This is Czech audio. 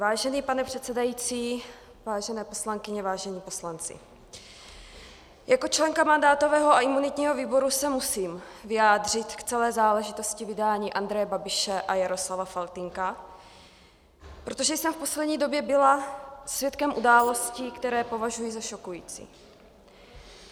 Vážený pane předsedající, vážené poslankyně, vážení poslanci, jako členka mandátového a imunitního výboru se musím vyjádřit k celé záležitosti vydání Andreje Babiše a Jaroslava Faltýnka, protože jsem v poslední době byla svědkem událostí, které považuji za šokující.